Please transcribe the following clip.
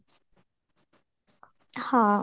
ହଁ